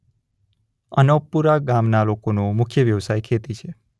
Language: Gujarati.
અનોપપુરા ગામના લોકોનો મુખ્ય વ્યવસાય ખેતી છે.